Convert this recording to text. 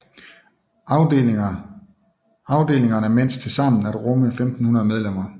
Afdelingerne mens tilsammen at rumme 1500 medlemmer